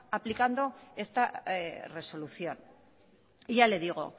aplicando esta resolución ya le digo